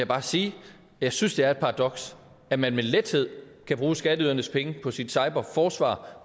bare sige at jeg synes det er et paradoks at man med lethed kan bruge skatteydernes penge på sit cyberforsvar